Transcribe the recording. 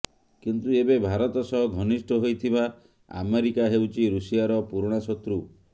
କିନ୍ତୁ ଏବେ ଭାରତ ସହ ଘନିଷ୍ଠ ହୋଇଥିବା ଆମେରିକା ହେଉଛି ଋଷିଆର ପୁରୁଣା ଶତ୍ରୁ